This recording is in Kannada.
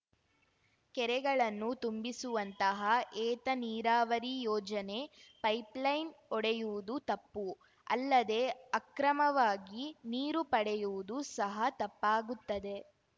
ಕೆರೆಗಳನ್ನು ತುಂಬಿಸುವಂತಹ ಏತ ನೀರಾವರಿ ಯೋಜನೆ ಪೈಪ್‌ ಲೈನ್‌ ಒಡೆಯುವುದು ತಪ್ಪು ಅಲ್ಲದೇ ಅಕ್ರಮವಾಗಿ ನೀರು ಪಡೆಯುವುದು ಸಹ ತಪ್ಪಾಗುತ್ತದೆ